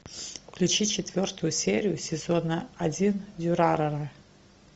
включи четвертую серию сезона один дюрарара